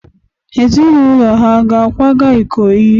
Ezinụlọ ha ga-akwaga Ikoyi?